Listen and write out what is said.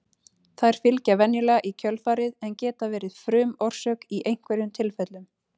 þær fylgja venjulega í kjölfarið en geta verið frumorsök í einhverjum tilfellum